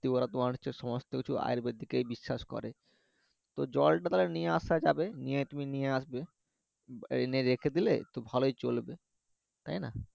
কি বলে তোমার হচ্ছে সমস্ত কিছু আয়ুর্বেদিকে বিশ্বাস করে তো জল টা তাহলে নিয়ে আসা যাবে নিয়ে তুমি নিয়ে আসবে এনে রেখে দিলে তো ভালোই চলবে তাইনা